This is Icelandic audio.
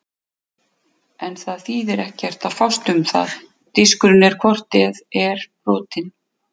En það þýðir ekkert að fást um það, diskurinn er hvort eð er brotinn.